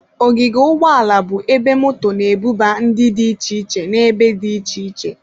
Ogige ụgbọ ala bụ ebe moto na-ebuba ndị dị iche iche n'ebe dị iche iche.